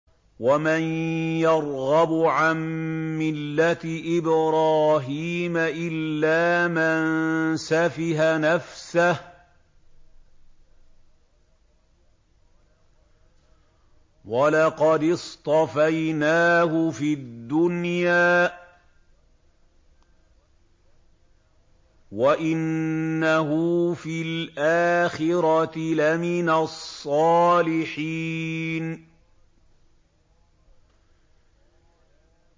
وَمَن يَرْغَبُ عَن مِّلَّةِ إِبْرَاهِيمَ إِلَّا مَن سَفِهَ نَفْسَهُ ۚ وَلَقَدِ اصْطَفَيْنَاهُ فِي الدُّنْيَا ۖ وَإِنَّهُ فِي الْآخِرَةِ لَمِنَ الصَّالِحِينَ